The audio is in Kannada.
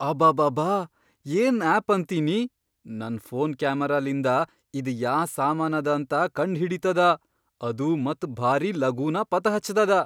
ಅಬಾಬಾಬಾ, ಏನ್ ಆಪ್ ಅಂತೀನಿ ನನ್ ಫೋನ್ ಕ್ಯಾಮರಾಲಿಂದ ಇದ್ ಯಾ ಸಾಮಾನದ ಅಂತ ಕಂಡ್ ಹಿಡೀತದ ಅದೂ ಮತ್ ಭಾರಿ ಲಗೂನ ಪತಾ ಹಚ್ತದ.